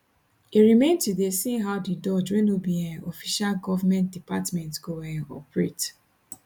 e remain to dey seen how di doge wey no be um official govment department go um operate